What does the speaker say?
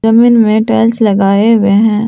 जमीन में टाइल्स लगाए हुए हैं।